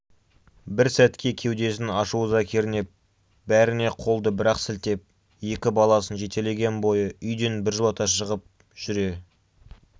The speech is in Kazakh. бір сәтке кеудесін ашу-ыза кернеп бәріне қолды бір-ақ сілтеп екі баласын жетелеген бойы үйден біржолата шығып жүре